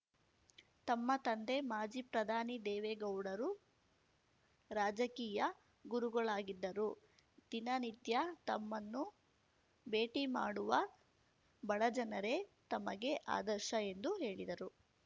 ತಮ್ಮ ತಂದೆ ಮಾಜಿ ಪ್ರಧಾನಿ ದೇವೇಗೌಡರು ರಾಜಕೀಯ ಗುರುಗಳಾಗಿದ್ದರೂ ದಿನನಿತ್ಯ ತಮ್ಮನ್ನು ಭೇಟಿ ಮಾಡುವ ಬಡಜನರೇ ತಮಗೆ ಆದರ್ಶ ಎಂದು ಹೇಳಿದರು